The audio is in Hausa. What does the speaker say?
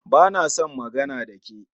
Ba na son magana da ke